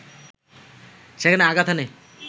সেখানে আঘাত হানে